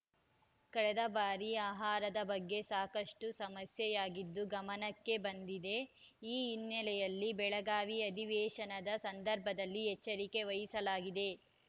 ಕಳೆದ ಬಾರಿ ಆಹಾರದ ಬಗ್ಗೆ ಸಾಕಷ್ಟುಸಮಸ್ಯೆಯಾಗಿದ್ದು ಗಮನಕ್ಕೆ ಬಂದಿದೆ ಈ ಹಿನ್ನೆಲೆಯಲ್ಲಿ ಬೆಳಗಾವಿ ಅಧಿವೇಶನದ ಸಂದರ್ಭದಲ್ಲಿ ಎಚ್ಚರಿಕೆ ವಹಿಸಲಾಗಿದೆ